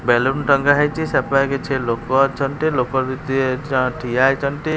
Balloon ଟଙ୍ଗା ହେଇଚି। ସେପାଖେ କିଛି ଲୋକ ଅଛନ୍ତି ଲୋକ ବି ତିଏ ଜଣେ ଠିଆ ହେଇଛନ୍ତି।